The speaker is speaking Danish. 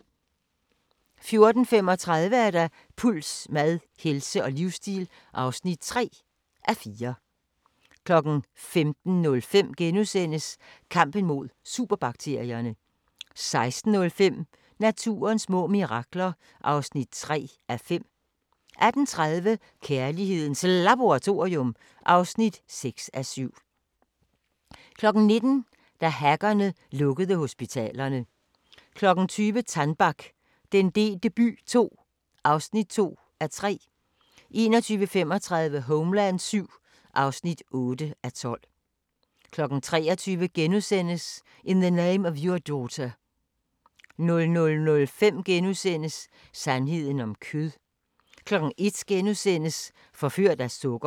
14:35: Puls: Mad, helse og livsstil (3:4) 15:05: Kampen mod superbakterierne * 16:05: Naturens små mirakler (3:5) 18:30: Kærlighedens Laboratorium (6:7) 19:00: Da hackerne lukkede hospitalerne 20:00: Tannback - den delte by II (2:3) 21:35: Homeland VII (8:12) 23:00: In the Name of Your Daughter * 00:05: Sandheden om kød * 01:00: Forført af sukker *